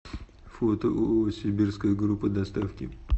фото ооо сибирская группа доставки